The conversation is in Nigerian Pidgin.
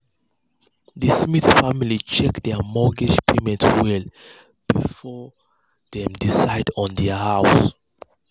the smith family check their mortgage options well before dem decide on their house.